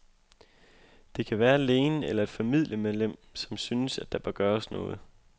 Det kan være lægen eller et familiemedlem, som synes, at der bør gøres noget.